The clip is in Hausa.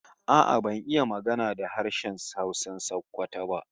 A'a ban iya magana da Hausan Sokoto ba